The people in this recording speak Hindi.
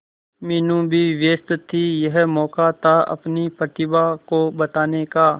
मीनू भी व्यस्त थी यह मौका था अपनी प्रतिभा को बताने का